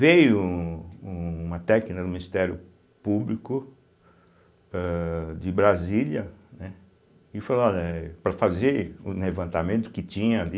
um uma técnica do Ministério Público âh de Brasília, né, e falou olha eh, para fazer o levantamento que tinha ali.